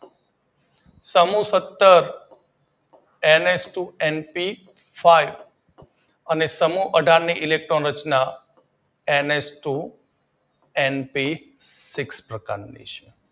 સમૂહ સતર NH two NP five અને સમૂહ અઢાર ની ઇલેક્ટ્રોન રચના એનએચ ટુ એનપીસિક્સ પ્રકારની છે.